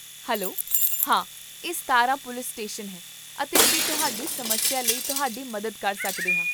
hello, ਹਾਂ ਇਹ Satara police station ਹੈ ਅਤੇ ਅਸੀਂ ਤੁਹਾਡੀ ਸਮੱਸਿਆ ਲਈ ਤੁਹਾਡੀ ਮਦਦ ਕਰ ਸਕਦੇ ਹਾਂ